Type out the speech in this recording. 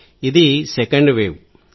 ఇది రెండవ వేవ్